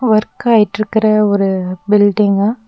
Work ஆயிட்ருக்ற ஒரு building .